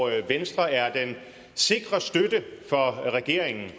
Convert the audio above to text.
venstre er den sikre støtte for regeringen